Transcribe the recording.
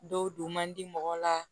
Dɔw don man di mɔgɔ la